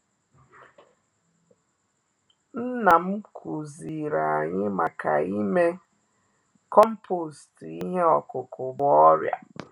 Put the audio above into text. Nnam kụziri anyị maka ime compost ihe ọkụkụ bu ọrịa.